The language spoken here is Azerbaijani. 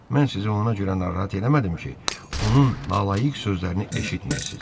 Mən sizi ona görə narahat eləmədim ki, onun nalayiq sözlərini eşitməyəsiz.